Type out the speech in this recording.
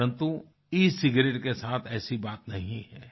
परन्तु e cigarette के साथ ऐसी बात नहीं है